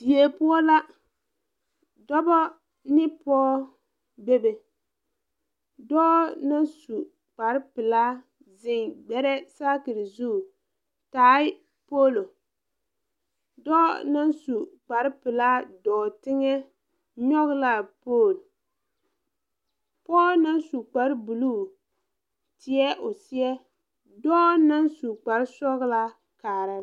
Die poɔ la dɔbɔ ne pog bebe dɔɔ naŋ su kparepilaa zeŋ gbɛrɛɛ saakire zu tae poolo dɔɔ naŋ su kparepilaa dɔɔ teŋɛ nyoge laa pool pɔɔ naŋ su kparebluu teɛ o seɛ dɔɔ naŋ su kparesɔglaa kaara.